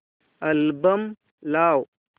album लाव